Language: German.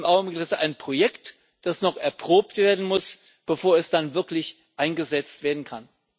im Augenblick ist es ein Projekt, das noch erprobt werden muss, bevor es dann wirklich eingesetzt werden kann.